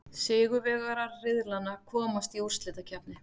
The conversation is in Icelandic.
Sigurvegarar riðlanna komast í úrslitakeppni.